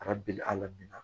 A ka beli a la min na